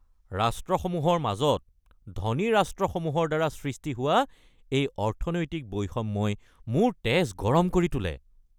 ৰাষ্ট্ৰসমূহৰ মাজত ধনী ৰাষ্ট্ৰসমূহৰ দ্বাৰা সৃষ্টি হোৱা এই অৰ্থনৈতিক বৈষম্যই মোৰ তেজ গৰম কৰি তোলে।